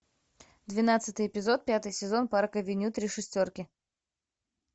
двенадцатый эпизод пятый сезон парк авеню три шестерки